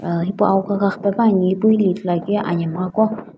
hipau ahukikha khakhipe pa ani ipu hili ithuluakiuye anhemughaqo.